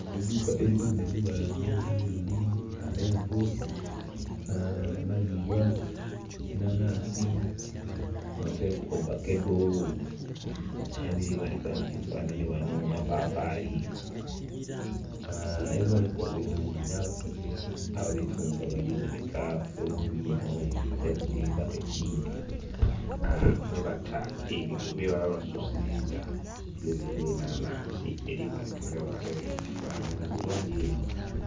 Eidhuuka eritundha ebibala nga wota meroni, ameenvu, amalibwa, enhanhansi oteku ovakedo ebiri booneka mukifanhani ghano mapapali ebibooneka obulungi n'abakazi ababitunda bali booneka bulungi inho oteku ni bbaketi mwebata ebyo bebaba basusiza tugeze nga enhanhansi eri booneka ni ghale mukifanhani bulungi inho.